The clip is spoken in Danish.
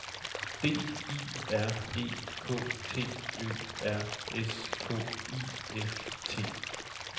D I R E K T Ø R S K I F T